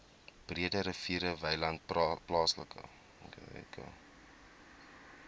breederivier wynland plaaslike